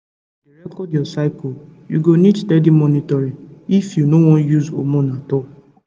you sabi say to dey record your cycleyou go need steady monitoring if you no wan use hormone at all